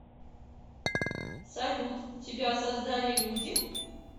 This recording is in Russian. салют тебя создали люди